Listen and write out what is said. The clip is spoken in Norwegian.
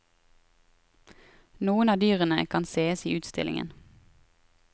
Noen av dyrene kan sees i utstillingen.